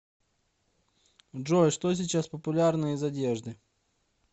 джой что сейчас популярно из одежды